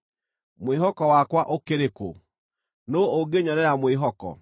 mwĩhoko wakwa ũkĩrĩ kũ? Nũũ ũngĩnyonera mwĩhoko?